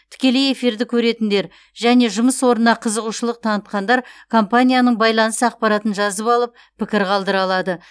тікелей эфирді көретіндер және жұмыс орнына қызығушылық танытқандар компанияның байланыс ақпаратын жазып алып пікір қалдыра алады